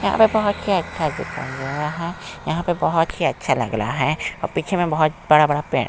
पे बहुत ही अच्छा दिखाई दे रहा है यहाँ पर बहुत ही अच्छा लग रहा है और पीछे में बहुत बड़ा-बड़ा पेड़--